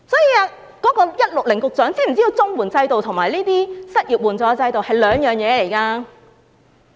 究竟 "IQ 160局長"知否綜援制度與失業援助制度是兩回事？